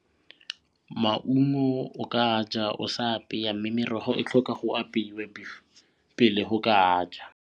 Maungo o ka ja o sa apeya mme merogo e tlhoka go apeiwa pele o ka a ja.